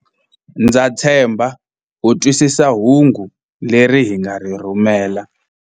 Ndza tshemba u twisisa hungu leri hi nga ri rhumela.